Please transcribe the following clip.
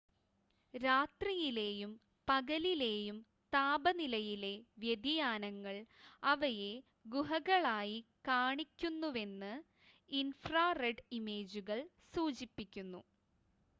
രാത്രിയിലെയും പകലിലെയും താപനിലയിലെ വ്യതിയാനങ്ങൾ അവയെ ഗുഹകളായി കാണിക്കുന്നുവെന്ന് ഇൻഫ്രാ റെഡ് ഇമേജുകൾ സൂചിപ്പിക്കുന്നു